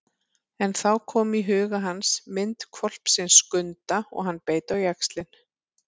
En þá kom í huga hans mynd hvolpsins Skunda og hann beit á jaxlinn.